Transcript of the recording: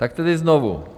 Tak tedy znovu.